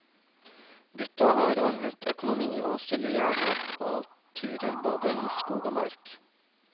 Gutta har ordnet økonomi og stiller gjerne opp på turer både i skog og mark.